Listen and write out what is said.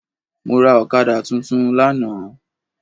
Mọ́ra Ọ̀kadà tuntun lánàá